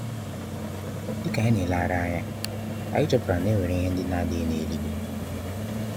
Dika anyi n'elehari anya, anyi chọpụtara na enwere ihe ndi na adighi n'eluigwe.